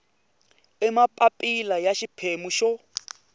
hi mapapila ya xiphemu xo